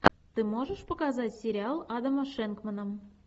ты можешь показать сериал адама шенкмана